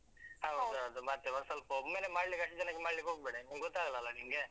ಮತ್ತೆ ಒಂದ್ ಸ್ವಲ್ಪ ಒಮ್ಮೆಲೆ ಮಾಡ್ಲಿಕ್ಕೆ ಅಷ್ಟು ಜನಕ್ಕೆ ಮಾಡ್ಲಿಕ್ಕೆ ಹೋಗ್ಬೇಡ ಇನ್ನು, ಗೊತ್ತಾಗಲ್ಲ ಅಲಾ ನಿಂಗೆ.